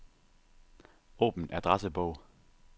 Åbn adressebog.